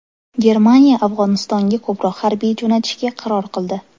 Germaniya Afg‘onistonga ko‘proq harbiy jo‘natishga qaror qildi.